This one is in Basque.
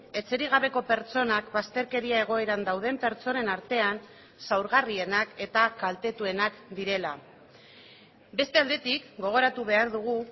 etxerik gabeko pertsonak bazterkeria egoeran dauden pertsonen artean zaurgarrienak eta kaltetuenak direla beste aldetik gogoratu behar dugu